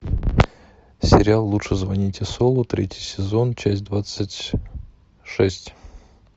сериал лучше звоните солу третий сезон часть двадцать шесть